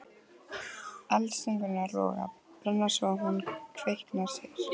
Eldstungurnar loga, brenna svo að hún kveinkar sér.